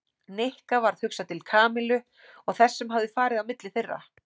Nikka varð hugsað til Kamillu og þess sem hafði farið á milli þeirra.